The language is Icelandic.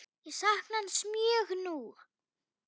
Ég sakna hans mjög nú.